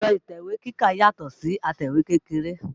Ẹ̀rọ̀ atẹ̀wé kíkà yàtọ̀ si atẹ̀wé kékeré